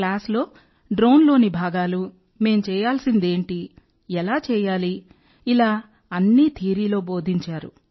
క్లాస్లో డ్రోన్లోని భాగాలు మేం చేయాల్సిందేమిటి ఎలా చేయాలి ఇలా అన్నీ థియరీలో బోధించారు